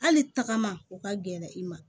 Hali tagama u ka gɛlɛn i ma